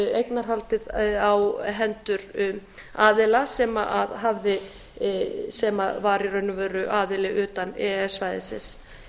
eignarhaldið í hendur aðila sem var í raun og veru aðili utan e e s svæðisins